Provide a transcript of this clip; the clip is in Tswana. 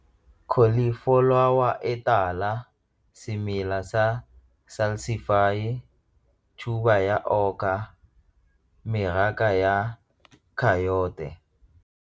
Cauliflower e tala, semela sa .